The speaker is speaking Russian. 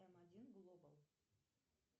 м один глобал